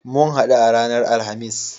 Mun haɗu a ranar Alhamis.